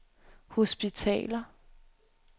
hospitaler